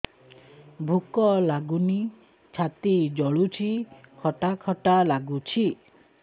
ଭୁକ ଲାଗୁନି ଛାତି ଜଳୁଛି ଖଟା ଖଟା ଲାଗୁଛି